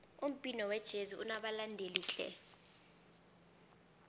umbhino wejezi unabalandeli tle